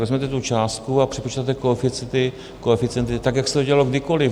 Vezmete tu částku a přepočtete koeficienty tak, jak se to dělalo kdykoliv .